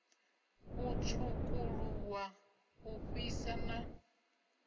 u tswukuluwa u fhisa na